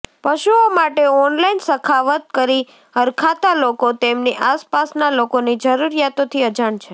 પશુઓ માટે ઓનલાઈન સખાવત કરી હરખાતા લોકો તેમની આસપાસના લોકોની જરૂરિયાતોથી અજાણ છે